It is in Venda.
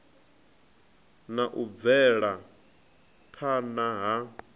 na u bvela phana ha